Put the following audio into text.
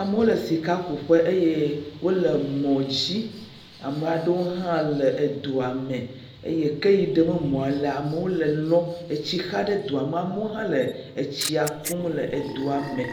Amewo le sikakuƒe eye wole mɔ dzi. Ame aɖewo hã le edoa me eye ke yi ɖem mɔa lea, amewo le lɔm. tsi xa ɖe doa me amewo hã le tsia kum le doa me.